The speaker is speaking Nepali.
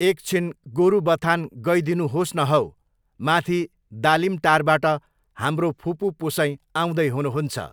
एकछिन गोरुबथान गइदिनुहोस् न हौ, माथि दालिमटारबाट हाम्रो फुपू पुसैँ आउँदै हुनुहुन्छ।